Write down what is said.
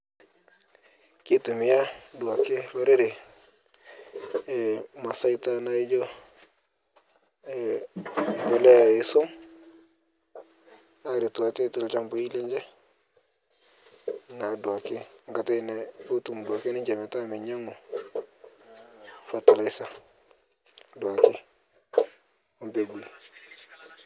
Keitumia duake lorere masaita naijo, mbolea esuom aretuu atee telchampai lenshe naaduake nkatai potum duake ninshee petaa meinyang'u fertilizer duake ompegui.